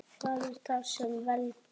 Hvað er það sem veldur?